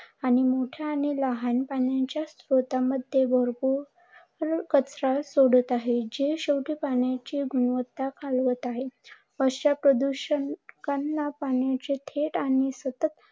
आणि मोठ्या आणि लहान पाण्याच्या स्त्रोतामध्ये भरपुर कचरा सोडत आहे. ज्यामुळे पाण्याची गुणवत्ता खालावत आहे. अश्या प्रदूषणामुळे पाण्याचे थेट